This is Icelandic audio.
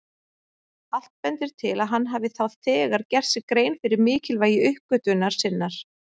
Allt bendir til að hann hafi þá þegar gert sér grein fyrir mikilvægi uppgötvunar sinnar.